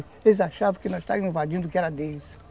Eles achavam que nós estávamos invadindo o que era deles.